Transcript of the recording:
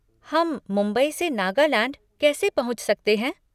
हम मुंबई से नागालैंड कैसे पहुँच सकते हैं?